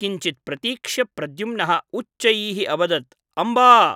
किञ्चित् प्रतीक्ष्य प्रद्युम्नः उच्चैः अवदत् ' अम्ब !